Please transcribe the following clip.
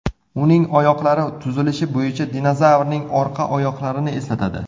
Uning oyoqlari tuzilishi bo‘yicha dinozavrning orqa oyoqlarini eslatadi.